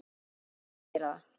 Ég mun aldrei gera það.